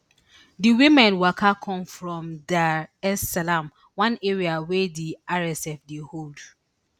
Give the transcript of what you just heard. di women waka come from dar es salaam one area wey di rsf dey hold